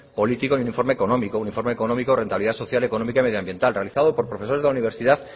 político y un informe económico un informe económico de rentabilidad social económica y medio ambiental realizado por profesores de universidad